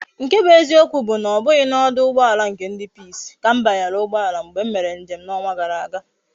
Nke bu eziokwu bu na obughi na oduugboala nke ndi peace ka m banyere ugboala mgbe m mere njem na onwa gara aga